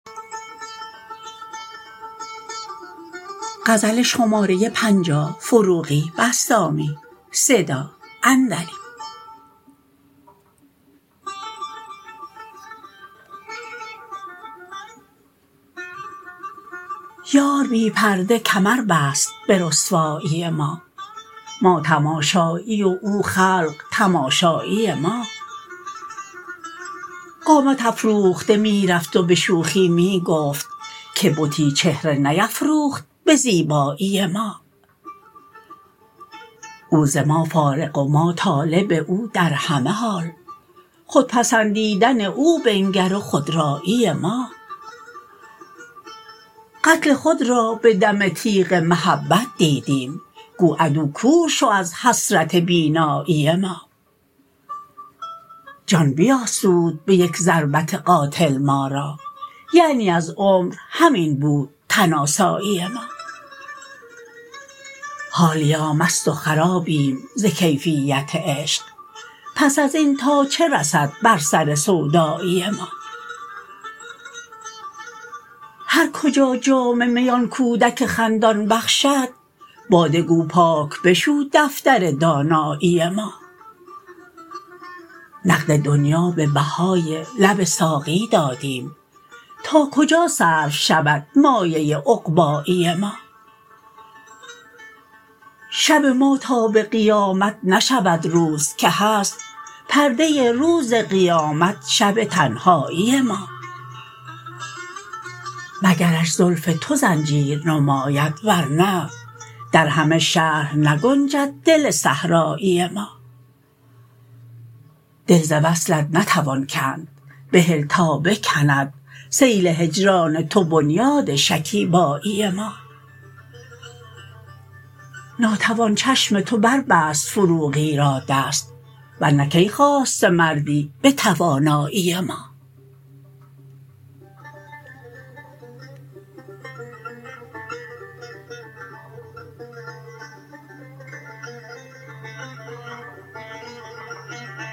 یار بی پرده کمر بست به رسوایی ما ما تماشایی او خلق تماشایی ما قامت افراخته می رفت و به شوخی می گفت که بتی چهره نیفروخت به زیبایی ما او ز ما فارغ و ما طالب او در همه حال خود پسندیدن او بنگر و خودرایی ما قتل خود را به دم تیغ محبت دیدیم گو عدو کور شو از حسرت بینایی ما جان بیاسود به یک ضربت قاتل ما را یعنی از عمر همین بود تن آسایی ما حالیا مست و خرابیم ز کیفیت عشق پس از این تا چه رسد بر سر سودایی ما هر کجا جام می آن کودک خندان بخشد باده گو پاک بشو دفتر دانایی ما نقد دنیا به بهای لب ساقی دادیم تا کجا صرف شود مایه عقبایی ما شب ما تا به قیامت نشود روز که هست پرده روز قیامت شب تنهایی ما مگرش زلف تو زنجیر نماید ور نه در همه شهر نگنجد دل صحرایی ما دل ز وصلت نتوان کند بهل تا بکند سیل هجران تو بنیاد شکیبایی ما ناتوان چشم تو بر بست فروغی را دست ورنه کی خاسته مردی به توانایی ما